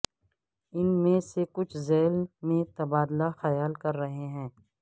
ان میں سے کچھ ذیل میں تبادلہ خیال کر رہے ہیں